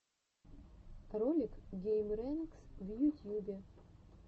ролик геймрэнкс в ютьюбе